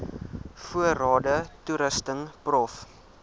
voorrade toerusting prof